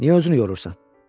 Niyə özünü yorursan?